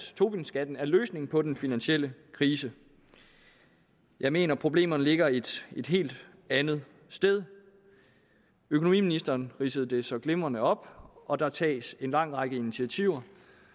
tobinskatten er løsningen på den finansielle krise jeg mener at problemerne ligger et helt andet sted økonomiministeren ridsede det så glimrende op og der tages en lang række initiativer